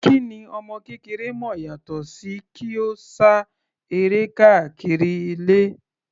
Kí ni ọmọ kékeré mọ̀ yàtọ sí kí ó sá eré káàkiri ilé.